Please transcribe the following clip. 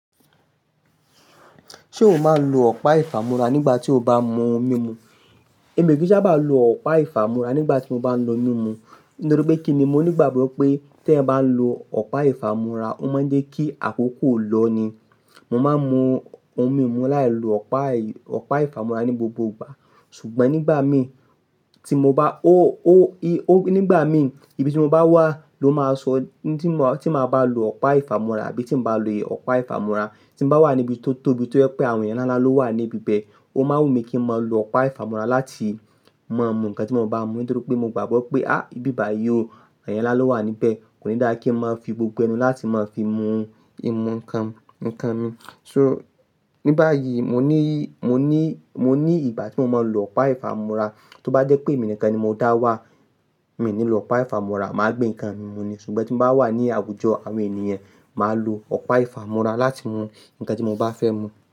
Ṣé o máa ń lo ọ̀pá ìfámúra nígbà tí o bá mú omi mu? Èmi ò kí n sábà lo ọ̀pá ìfámúra nígbà tí mo bá ń mu onú mimu. Nítorí pé kí ni? Mo ní ìgbàgbọ́ pé tí ẹ bá ń lo ọ̀pá ìfámúra, ó máa ń jẹ́ kí àkókò lọ ni. Mo máa ń mú oun mi mu láì lo ọ̀pá, ọ̀pá ìfámúra ní gbogbo ìgbà. Ṣùgbọ́n nígbà mi tí mo bá, ó, ó, ó, nígbà mi, ibi tí mo bá wà ló máa sọ tí mo, tí màá bá lo ọ̀pá ìfámúra àbí tí màá bá lo ọ̀pá ìfámúra. Tí mo bá wà níbi tó tóbi tó ẹ́ pé àwọn ènìyàn láńlá ló wà níbi bẹ́ẹ̀, ó máa wù mí kí n máa lo ọ̀pá ìfámúra láti mú nǹkan tí mo bá mú nítorí pé mo gbàgbọ́ pé, á, ibi báyìí ò, ènìyàn nlá ló wà níbẹ̀. Kò ní dára kí n máa fi gbogbo ẹnu láti máa fi mu nǹkan, nǹkan mi. So, ní báyìí mo ní, mo ní, mo ní ìgbà tí mo máa ń lo ọ̀pá ìfámúra. Tó bá jẹ́ pé èmi nìkan ni mo dá wá, mi ò ní lo ọ̀pá ìfámúra, màá gbé nǹkan mi mú ni. Ṣùgbọ́n tí mo bá wà ní àwùjọ àwọn ènìyàn, màá lo ọ̀pá ìfámúra láti mú nǹkan tí mo bá fẹ́ mú.